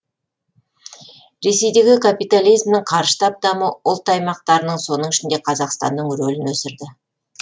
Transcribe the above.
ресейдегі капитализмнің қарыштап дамуы ұлт аймақтарының соның ішінде қазақстанның рөлін өсірді